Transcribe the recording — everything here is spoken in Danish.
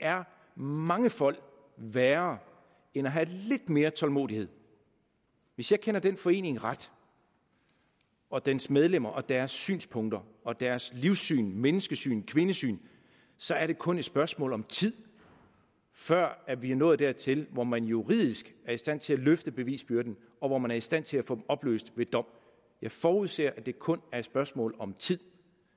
er mangefold værre end at have lidt mere tålmodighed hvis jeg kender den forening ret og dens medlemmer og deres synspunkter og deres livssyn menneskesyn kvindesyn så er det kun et spørgsmål om tid før vi er nået dertil hvor man juridisk er i stand til at løfte bevisbyrden og hvor man er i stand til at få opløst ved dom jeg forudser at det kun er et spørgsmål om tid